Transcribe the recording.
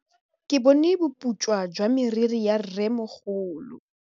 Ke bone boputswa jwa meriri ya rrêmogolo.